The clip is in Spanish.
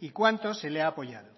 y cuanto se le ha apoyado